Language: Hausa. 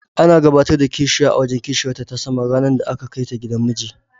Ana gabatar da kishiya a wajen kishiyarta ta sama ranar da aka kaita gidan miji.